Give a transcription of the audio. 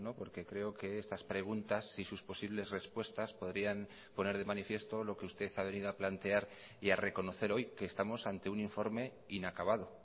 porque creo que estas preguntas y sus posibles respuestas podrían poner de manifiesto lo que usted ha venido a plantear y a reconocer hoy que estamos ante un informe inacabado